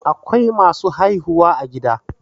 Akwai masu haihuwa a gida